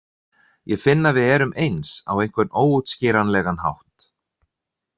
Ég finn að við erum eins, á einhvern óútskýranlegan hátt.